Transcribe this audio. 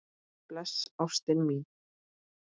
Bless ástin mín.